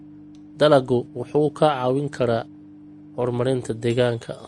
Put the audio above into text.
Dalaggu wuxuu kaa caawin karaa horumarinta deegaanka.